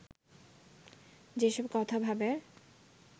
যেসব কথা ও ভাবের